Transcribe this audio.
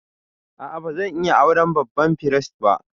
A'a, ba zan iya auren babban firist ba.